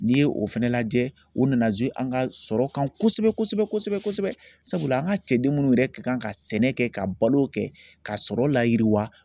N'i ye o fɛnɛ lajɛ o nana an ka sɔrɔ kan kosɛbɛ kosɛbɛ kosɛbɛ sabula an ka cɛden munnu yɛrɛ kan ka sɛnɛ kɛ ka balo kɛ ka sɔrɔ layiriwa.